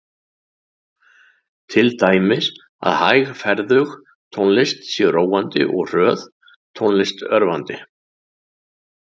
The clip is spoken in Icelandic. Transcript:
Til dæmis að hægferðug tónlist sé róandi og hröð tónlist örvandi.